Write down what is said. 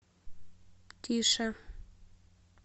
тише